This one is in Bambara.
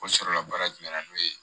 Ko sɔrɔla baara jumɛn na n'o ye